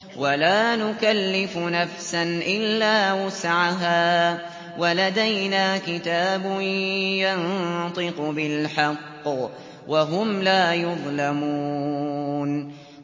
وَلَا نُكَلِّفُ نَفْسًا إِلَّا وُسْعَهَا ۖ وَلَدَيْنَا كِتَابٌ يَنطِقُ بِالْحَقِّ ۚ وَهُمْ لَا يُظْلَمُونَ